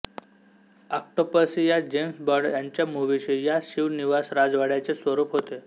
Octopussy या James Bond यांच्या मुव्हीशी या शिव निवास राजवाड्याचे स्वरूप होते